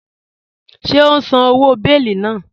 Ṣẹ̀ o n sán owó bèélì náà?